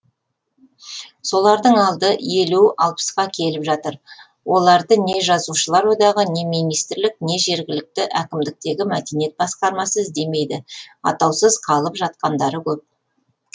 солардың алды елу алпысқа келіп жатыр оларды не жазушылар одағы не министрлік не жергілікті әкімдіктегі мәдениет басқармасы іздемейді атаусыз қалып жатқандары көп